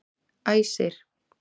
Æsir